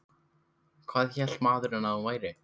Hvað hélt maðurinn að hún væri?